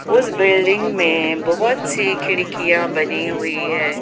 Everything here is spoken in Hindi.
उस बिल्डिंग में बहुत सी खिड़कियां बनी हुई है ।